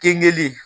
Keninge